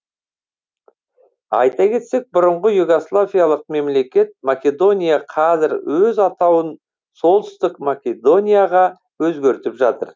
айта кетсек бұрынғы югославиялық мемлекет македония қазір өз атауын солтүстік македонияға өзгертіп жатыр